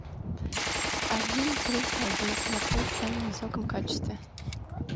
один плюс один смотреть в самом высоком качестве